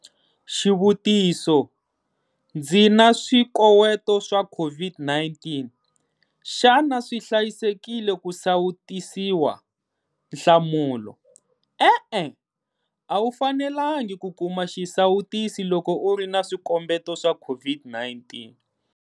Xivutiso- Ndzi na swikoweto swa COVID-19, xana swi hlayisekile ku sawutisiwa? Nhlamulo- E-e. A wu fanelangi ku kuma xisawutisi loko u ri na swikombeto swa COVID-19.